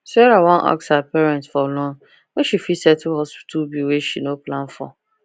sarah wan ask her parents for loan make she fit settle hospital bill wey she no plan for